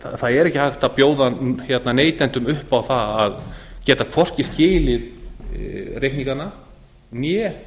það er ekki hægt að bjóða neytendum upp á það að geta hvorki skilið reikningana né